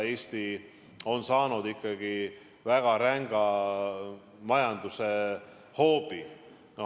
Eesti on saanud ikkagi väga ränga majandusliku hoobi.